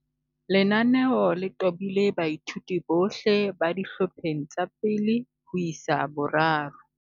Lenaneo le tobile baithuti bohle ba dihlopheng tsa 1 ho isa 3.